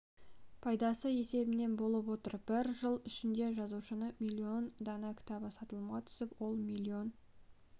пайдасы есебінен болып отыр бір жыл ішінде жазушының миллион дана кітабы сатылымға түсіп ол миллион